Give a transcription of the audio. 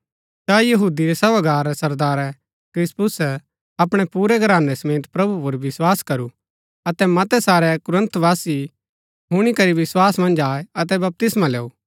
ता यहूदी रै सभागार रै सरदारै क्रिसपुसे अपणै पुरै घरानै समेत प्रभु पुर विस्वास करू अतै मतै सारै कुरिन्थवासी हुणी करी विस्वास मन्ज आये अतै बपतिस्मा लैऊ